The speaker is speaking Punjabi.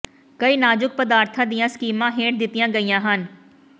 ਕਈ ਨਾਜ਼ੁਕ ਪਦਾਰਥਾਂ ਦੀਆਂ ਸਕੀਮਾਂ ਹੇਠ ਦਿੱਤੀਆਂ ਗਈਆਂ ਹਨ